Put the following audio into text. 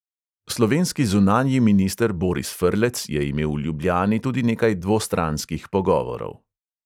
Slovenski zunanji minister boris frlec je imel v ljubljani tudi nekaj dvostranskih pogovorov.